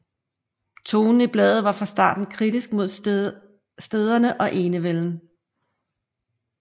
Tonen i bladet var fra starten kritisk mod stænderne og enevælden